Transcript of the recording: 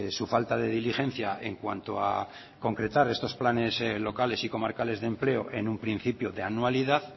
su falta de diligencia en cuanto a concretar esos planes locales y comarcales de empleo en un principio de anualidad